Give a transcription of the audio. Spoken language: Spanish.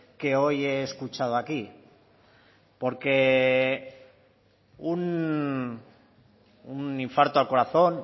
que hoy he escuchado aquí porque un infarto al corazón